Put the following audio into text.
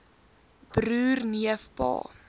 broer neef pa